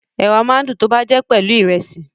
Ẹ̀wà máa ń dùn tọ́ bá jẹ́ pelu Ìrẹ́sì